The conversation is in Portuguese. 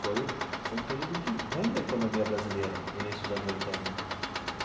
Foi um foi um período de ruim da economia brasileira, início dos anos oitenta.